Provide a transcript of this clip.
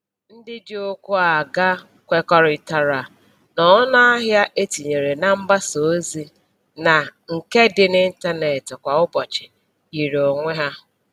Ndị ji ụkwụ aga kwekọrịtara na ọnụahịa e tinyere na mgbasa ozi na nke dị n'ịntanetị kwa ụbọchị yiri onwe ha